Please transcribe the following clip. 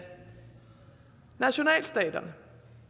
nationalstaterne